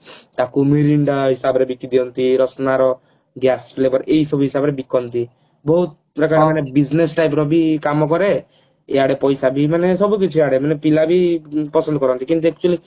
ତାକୁ ମିରିଣ୍ଡା ହିସାବରେ ବିକି ଦିଅନ୍ତି ରଶନା ର gas flavor ଏଇ ସବୁ ହିସାବରେ ବିକନ୍ତି ବହୁତ ପ୍ରକାର ଆମର business type ର ବି କାମ କରେ ଆଉ ଇଆଡେ ପଇସା ବି ମାନେ ସବୁ କିଛି ଆଡେ ମାନେ ପିଲା ବି ପସନ୍ଦ କରନ୍ତି କିନ୍ତୁ actually